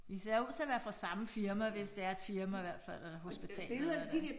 De ser ud til at være fra samme firma hvis det er et firma hvert fald eller hospital eller hvad det er